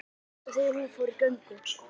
Allt út af því að hún fór í göngu